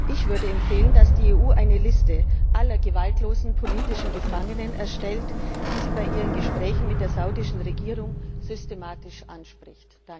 Ich würde empfehlen, dass die EU eine Liste aller gewaltlosen politischen Gefangenen erstellt, die sie bei ihren Gesprächen mit der saudischen Regierung systematisch anspricht.